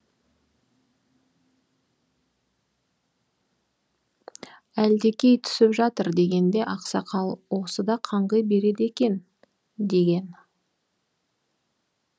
әлдекей түсіп жатыр дегенде ақсақал осы да қаңғи береді екен деген